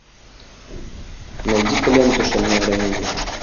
найди ка ленту шальное ранение